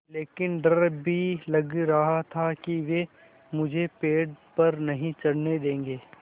लेकिन डर भी लग रहा था कि वे मुझे पेड़ पर नहीं चढ़ने देंगे